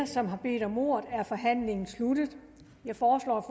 som har bedt om ordet er forhandlingen sluttet jeg foreslår